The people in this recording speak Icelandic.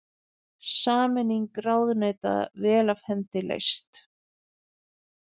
Sameining ráðuneyta vel af hendi leyst